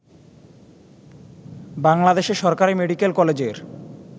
বাংলাদেশে সরকারী মেডিকেল কলেজের